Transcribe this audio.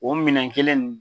O minɛn kelen nin